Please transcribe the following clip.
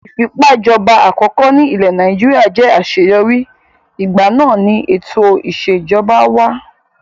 Ìfipágbàjọba àkọkọ́ ní ilẹ̀ Nàìjíríà jẹ́ àṣeyọrí, ìgbà náà ni ètò ìṣèjọba wà.